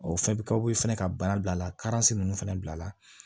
O fɛn bɛ kaw fɛnɛ ka baara bilala ninnu fɛnɛ bilala